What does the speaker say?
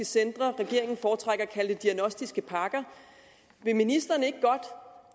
centre regeringen foretrækker at kalde det diagnostiske pakker vil ministeren ikke godt